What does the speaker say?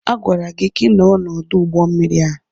Agwara gị ka ị nọrọ n'ọdụ ụgbọ mmiri a!